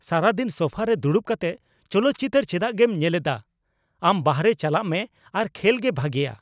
ᱥᱟᱨᱟᱫᱤᱱ ᱥᱳᱯᱷᱟ ᱨᱮ ᱫᱩᱲᱩᱵ ᱠᱟᱛᱮᱫ ᱪᱚᱞᱚᱛ ᱪᱤᱛᱟᱹᱨ ᱪᱮᱫᱟᱜᱮᱢ ᱧᱮᱞᱮᱫᱼᱟ ? ᱟᱢ ᱵᱟᱨᱦᱮ ᱪᱟᱞᱟᱜ ᱢᱮ ᱟᱨ ᱠᱷᱮᱞ ᱜᱮ ᱵᱷᱟᱜᱮᱭᱟ !